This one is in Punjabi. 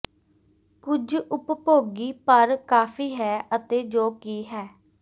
ਕੁਝ ਉਪਭੋਗੀ ਪਰ ਕਾਫ਼ੀ ਹੈ ਅਤੇ ਜੋ ਕਿ ਹੈ